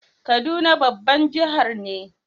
Kaduna babban jihar ne.